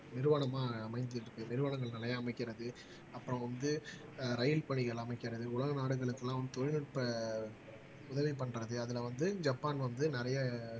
நிறுவனமா அமைஞ்சிட்டு இருக்கு நிறுவனங்கள் நிலையா அமைக்கிறது அப்புறம் வந்து ஆஹ் ரயில் பணிகள் அமைக்கிறது உலக நாடுகளுக்கு எல்லாம் தொழில்நுட்ப உதவி பண்றது அதுல வந்து ஜப்பான் வந்து நிறைய